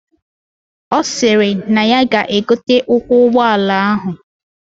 Osiri nay ya ga egote ụkwụ ugbọ ala ahụ